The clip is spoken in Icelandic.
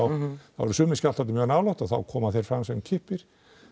þá eru sumir skjálftarnir nálægt og þá koma þeir fram sem kippir